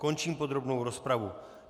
Končím podrobnou rozpravu.